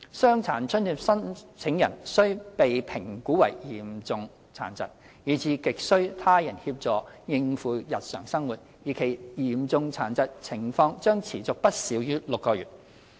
傷殘津貼申請人須被評估為嚴重殘疾，以致亟需他人協助應付日常生活，而其嚴重殘疾情況將持續不少於6個月。